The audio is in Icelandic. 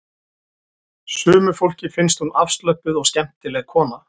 Sumu fólki finnst hún afslöppuð og skemmtileg kona